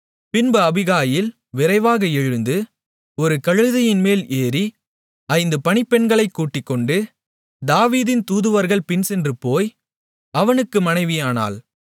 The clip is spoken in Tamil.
பின்பு அபிகாயில் விரைவாக எழுந்து ஒரு கழுதையின்மேல் ஏறி ஐந்து பணிப்பெண்களைக் கூட்டிக்கொண்டு தாவீதின் தூதுவர்கள் பின்சென்று போய் அவனுக்கு மனைவியானாள்